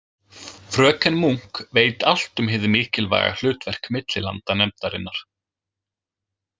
Fröken Munk veit allt um hið mikilvæga hlutverk millilandanefndarinnar.